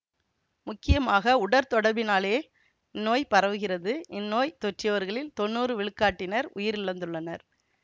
முக்கியமாக உடற்தொடர்பினாலே இந்நோய் பரவுகிறது இந்நோய் தொற்றியவர்களில் தொன்னூறு விழுக்காட்டினர் உயிரிழந்துள்ளனர்